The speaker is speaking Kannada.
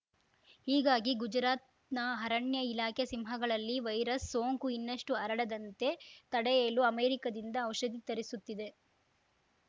ಹೀಗಾಗಿ ಗುಜರಾತ್‌ನ ಅರಣ್ಯ ಇಲಾಖೆ ಸಿಂಹಗಳಲ್ಲಿ ವೈರಸ್‌ ಸೋಂಕು ಇನ್ನಷ್ಟುಹರಡದಂತೆ ತಡೆಯಲು ಅಮೆರಿಕದಿಂದ ಔಷಧಿ ತರಿಸುತ್ತಿದೆ